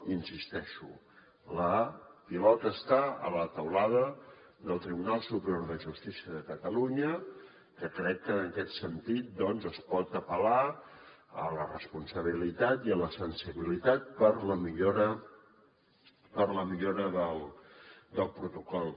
hi insisteixo la pilota està a la teulada del tribunal superior de justícia de catalunya que crec que en aquest sentit doncs es pot apel·lar a la responsabilitat i a la sensibilitat per a la millora del protocol